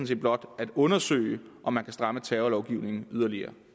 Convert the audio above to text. set blot at undersøge om man kan stramme terrorlovgivningen yderligere